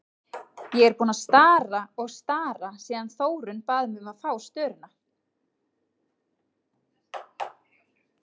Ég er búin að stara og stara síðan Þórunn bað mig um að fá störuna.